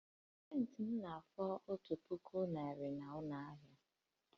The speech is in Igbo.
Scentị m na-efu otu puku naira na nnukwu ụlọ ahịa